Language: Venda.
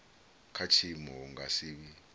kha tshiimo hu nga si